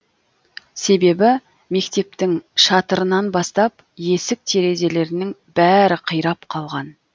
себебі мектептің шатырынан бастап есік терезелерінің бәрі қирап қалған